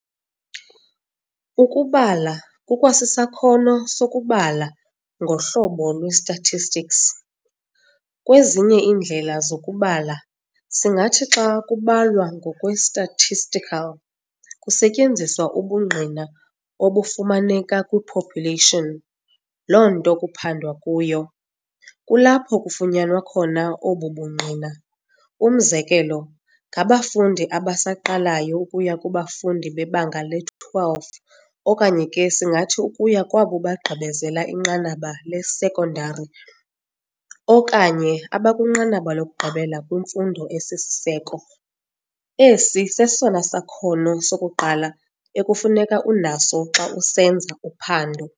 Ukubala kukwasisakhono soku kubala ngohlobo lwe-statistics. Kwezinye iindlela zokukubala, singathi xa kubalwa ngokwe-statistical, kusetyenziswa ubungqina obufumaneka kwi-population, loo nto kuphandwa kuyo, kulapho kufunyanwa khona obu bungqina. Umzekelo, ngabafundi abasaqalayo ukuya kubafundi bebanga le-12 okanye ke singathi ukuya kwabo bagqibezela inqanaba le-sekondari okanye abakwinqanaba lokugqibela kwimfundo esisiseko, esi sesona sakhono sokuqala ekufuneka unaso xa usenza uphando.